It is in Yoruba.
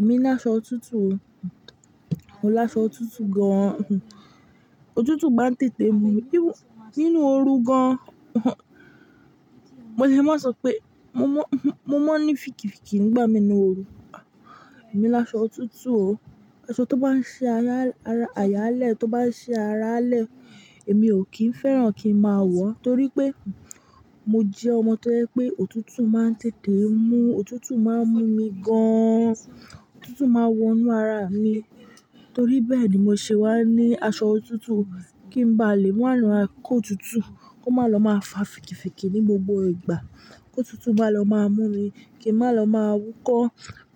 Èmi láṣọ òtútù o. Mo láṣọ òtútù gan. Òtútù máa ń tètè mú mí nínú oru gan. Mo lè má sọ pé mo mọ́, mo mọ́ ní fìkìfìkì nígbà mí nínú oru. Èmi láṣọ òtútù o. Aṣọ tó bá ń ṣi ayáálẹ́, tó bá ń ṣi aráalẹ́, èmi ò kí ń fẹ́ràn kí ń máa wọ, torí pé mo jẹ́ ọmọ tó jẹ́ pé òtútù máa ń tètè mú, òtútù máa ń mú mi gan. Òtútù máa ń wọnú ara mi, torí bẹ́ẹ̀ ni mo ṣe wá ní aṣọ òtútù kí ń ba lè máa ma kó òtútù, kó má lọ máa fa fìkìfìkì ní gbogbo ìgbà, kòtútù má lọ máa mú mi, kí ń má lọ máa wúkọ́,